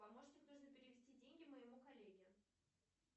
помощник нужно перевести деньги моему коллеге